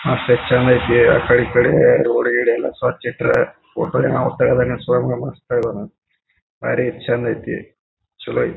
ಮಸ್ತ ಎಸ್ಟ್ ಚೆಂದ್ ಅಯ್ತಿ ಆ ಕಡೆ ಈ ಕಡೆ ರೋಡ್ ಗಿಡ್ ಎಲ್ಲಾ ಸ್ವಚ್ಛ ಇಟ್ಟಾರ ಫೊಟೊ ಯಾವ್ ತಗದಾನ್ ಸುಳೆಮಗ್ ಮಸ್ತ್ ತಗದಾನ್ ಮಸ್ತ್ ಐತಿ ಬಾರಿ ಚಂದ ಐತಿ ಚಲೋ ಐತೆ.